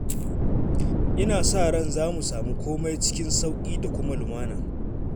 Ina sa ran za mu samu komai cikin sauƙi da kuma lumana